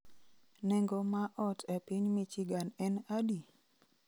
Nengo ma ot e piny Michigan en adi?